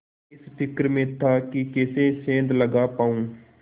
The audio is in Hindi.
इस फिक्र में था कि कैसे सेंध लगा पाऊँ